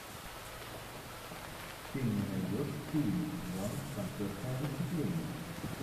ты мне найдешь фильмик жанр концертное выступление